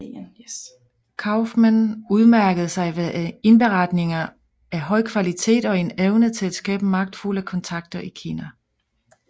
Kauffmann udmærkede sig ved indberetninger af høj kvalitet og en evne til at skabe magtfulde kontakter i Kina